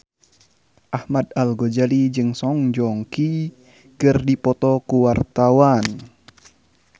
Ahmad Al-Ghazali jeung Song Joong Ki keur dipoto ku wartawan